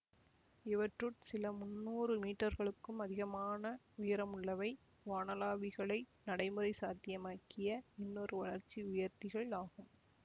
இவற்றுட் சில மூன்ன்னுரு மீட்டர்களுக்கும் அதிகமான உயரமுள்ளவை வானளாவிகளை நடைமுறை சாத்தியமாக்கிய இன்னொரு வளர்ச்சி உயர்த்திகள் ஆகும்